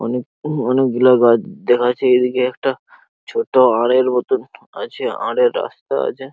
অনেক অনেক গুলো এদিকে একটা ছোট আলের মতো আছে আলের রাস্তা আছে।